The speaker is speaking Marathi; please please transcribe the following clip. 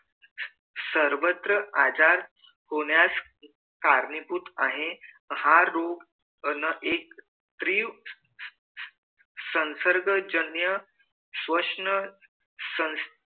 सर्वत्र आजार होण्यास कारणीभूत आहे हा रोग न एक तीव्र संसर्गजन्य वषण संस्था चे